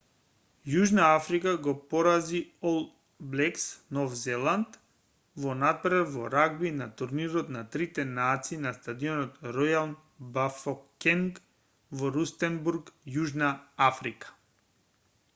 јужна африка ги порази ол блекс нов зеланд во натпревар во рагби на турнирот на трите нации на стадионот ројал бафокенг во рустенбург јужна африка